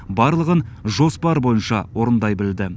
барлығын жоспар бойынша орындай білді